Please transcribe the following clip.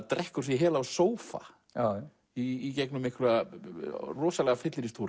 drekkur sig í hel á sófa í gegnum einhverja rosalega